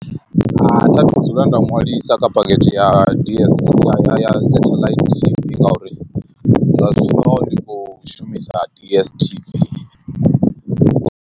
Hai thi a thu dzula nda ṅwalisa kha phakhethe ya d_s ya satellite t_v ngauri zwa zwino ri khou shumisa d_s_t_v.